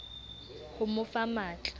ho mo fa matl a